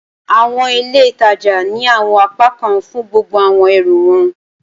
Awọn ile ìtajà ni awọn apakan fun gbogbo awọn ẹrú wọn